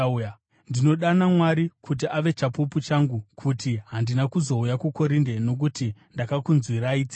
Ndinodana Mwari kuti ave chapupu changu kuti handina kuzouya kuKorinde nokuti ndakakunzwirai tsitsi.